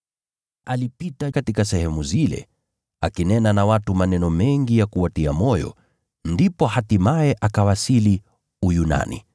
Alipita katika sehemu zile, akinena na watu maneno mengi ya kuwatia moyo. Ndipo hatimaye akawasili Uyunani,